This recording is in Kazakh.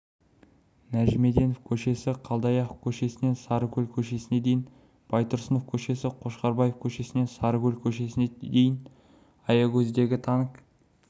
нәжімеденов көшесі қалдаяқов көшесінен сарыкөл көшесіне дейін байтұрсынов көшесі қошқарбаев к-сінен сарыкөл көшесіне дейін аягөздегі танк